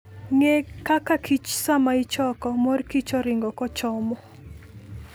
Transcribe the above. Ng'e kaka kich sama ichoko ,mor kich ori'ngo kochomo.